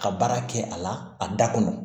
Ka baara kɛ a la a da kɔnɔ